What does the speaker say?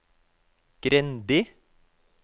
Grendi